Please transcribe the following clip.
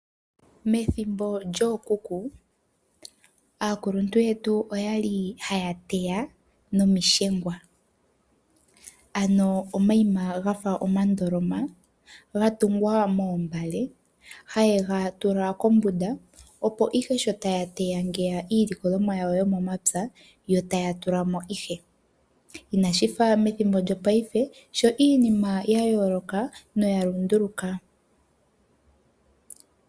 Methimbo lyookuku, aakuluntu yetu oya li haya teya niimbamba, ano omayima ga fa omandoloma gatungwa moombale haye ga tula kmbunda, opo ihe sho taya teya iilikolomwa yawo yomomapya yo taya tula mo ihe. Inashi fa methimbo lyopaife sho iinima ya yooloka noya lunduluka.